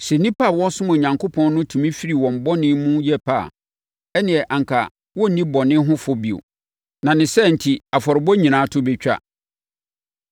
Sɛ nnipa a wɔresom Onyankopɔn no tumi firi wɔn bɔne mu yɛ pɛ a, ɛnneɛ anka wɔrenni bɔne ho fɔ bio, na ne saa enti, afɔrebɔ nyinaa to bɛtwa.